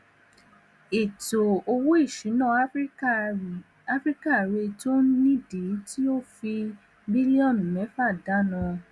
cocacola yí ètò ètò owóìṣúná àfíríkà rè tó nìdí tí ó fi fi bílíọnù méfà dánà